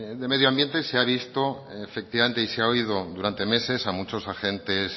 de medio ambiente se han visto efectivamente y se ha oído durante meses a muchos agentes